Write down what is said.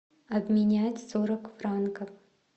обменять сорок франков